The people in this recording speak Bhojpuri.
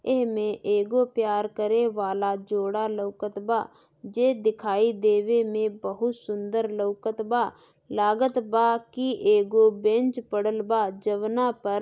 एह में एगो प्यार करे वाला जोड़ा लौकतबा जे दिखाई देवें में बहु सुंदर लौकतबा लगतबा की एगो बेंच परल लवा जमना पर ।